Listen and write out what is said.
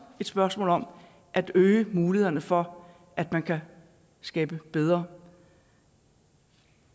et spørgsmål om at øge mulighederne for at man kan skabe bedre